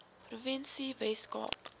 provinsie wes kaap